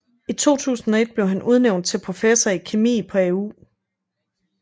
I 2001 blev han udnævnt til professor i kemi på AU